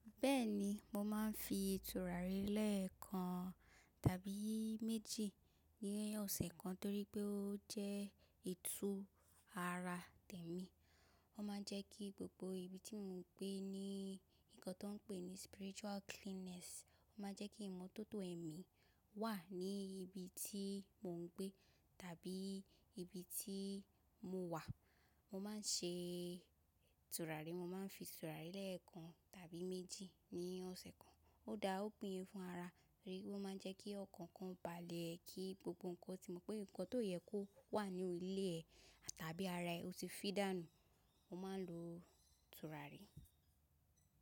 Bẹ́ẹ̀ni, mo máa ń fi ìtura ré lẹ́ẹ̀kan tàbí méjì ní ọ̀sẹ̀ kan torí pé ó jẹ́ itu ara tèmi. Ó máa ń jẹ́ kí gbogbo ibi tí mò ń gbé ní nǹkan tó ń pè ní spiritual cleanness. Ó máa ń jẹ́ kí ìmọ́tótó ẹ̀mí wà ní ibi tí mò ń gbé tàbí ibi tí mo wà. Mo máa ń ṣe turaré, mo máa ń fi turaré lẹ́ẹ̀kan tàbí méjì ní ọ̀sẹ̀ kan. Ó dá opín yin fún ara rẹ, ó máa ń jẹ́ kí ọ̀kankan balẹ̀ ẹ, kí gbogbo nǹkan tí mo pé nǹkan tó yẹ kó wà ní ilé ẹ tàbí ara ẹ ó ti fídànú. Mo máa ń lo ìtura ré.